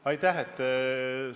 Aitäh!